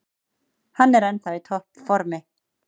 Hann er ennþá í topp formi.